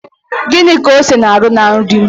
Gịnị ka ose na-arụ na nri?